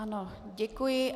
Ano, děkuji.